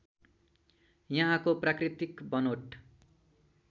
यहाँको प्राकृतिक बनोट